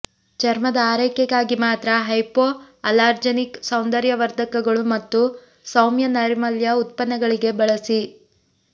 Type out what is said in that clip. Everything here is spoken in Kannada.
ಚರ್ಮದ ಆರೈಕೆಗಾಗಿ ಮಾತ್ರ ಹೈಪೋಅಲಾರ್ಜನಿಕ್ ಸೌಂದರ್ಯವರ್ಧಕಗಳು ಮತ್ತು ಸೌಮ್ಯ ನೈರ್ಮಲ್ಯ ಉತ್ಪನ್ನಗಳಿಗೆ ಬಳಸಿ